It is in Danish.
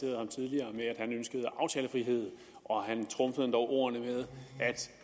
og han ønskede aftalefrihed og han trumfede endog ordene med